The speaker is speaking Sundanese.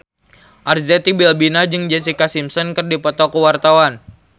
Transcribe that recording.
Arzetti Bilbina jeung Jessica Simpson keur dipoto ku wartawan